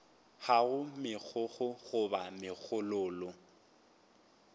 ga go megokgo goba megololo